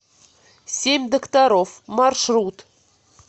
семь докторов маршрут